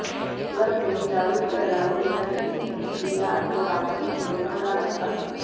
club में दारू के अलावा मेरा किसी भी क्रिया अथवा बातचीत में मन न लगता